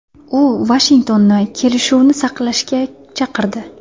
U Vashingtonni kelishuvni saqlashga chaqirdi.